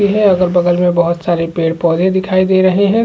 यह अगल-बगल में बहुत सारे पेड़-पौधे दिखाई दे रहे है ।